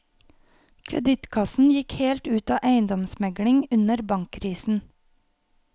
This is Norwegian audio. Kreditkassen gikk helt ut av eiendomsmegling under bankkrisen.